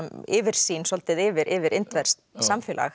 yfirsýn svolítið yfir yfir indverskt samfélag